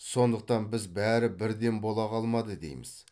сондықтан біз бәрі бірден бола қалмады дейміз